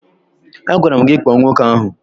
Agwara m gị kpọọ nwoke ahụ!